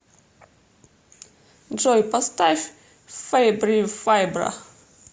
джой поставь фэйбри файбра